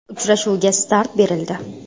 Uchrashuvga start berildi!